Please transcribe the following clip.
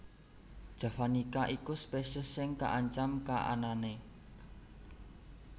javanica iku spesies sing kaancam kaananané